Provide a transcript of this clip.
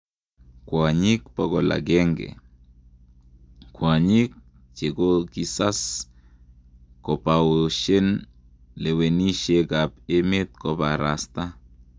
Kwanyik 100,: kwanyik chekokisas kopaoshen lawenishek ap emet koparasta